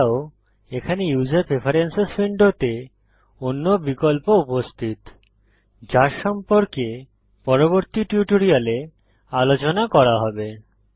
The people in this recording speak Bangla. এছাড়াও এখানে ইউসার প্রেফেরেন্সেস উইন্ডোতে অন্য বিকল্প উপস্থিত যার সম্পর্কে পরবর্তী টিউটোরিয়ালে আলোচনা করা হবে